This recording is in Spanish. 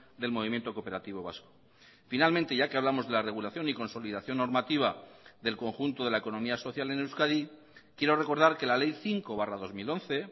del movimiento cooperativo vasco finalmente ya que hablamos de la regulación y consolidación normativa del conjunto de la economía social en euskadi quiero recordar que la ley cinco barra dos mil once